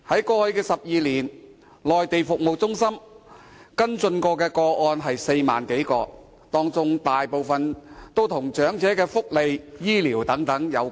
過去12年，內地中心曾跟進的個案有4萬多個，當中大部分均與長者福利、醫療等有關。